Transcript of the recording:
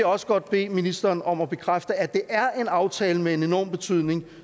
også godt bede ministeren om at bekræfte nemlig at det er en aftale med en enorm betydning